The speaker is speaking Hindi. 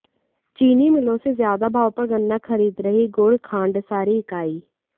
चीनी मिलों से ज्यादा भाव पर गन्ना खरीद रहीं गुड़ खांडसारी इकाई